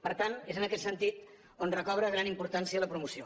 per tant és en aquest sentit que recobra gran importància la promoció